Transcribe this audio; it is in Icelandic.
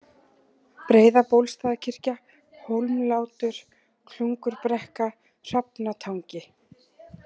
Breiðabólstaðarkirkja, Hólmlátur, Klungurbrekka, Hrafnatangi